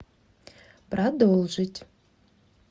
продолжить